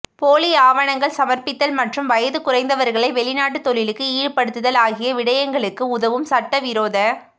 போலி ஆவணங்கள் சமர்ப்பித்தல் மற்றும் வயது குறைந்தவர்களை வெளிநாட்டு தொழிலுக்கு ஈடுபடுத்தல் ஆகிய விடயங்களுக்கு உதவும் சட்டவிரோத